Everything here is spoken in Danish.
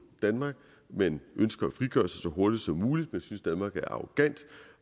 danmark man ønsker at frigøre sig så hurtigt som muligt og synes at danmark er arrogant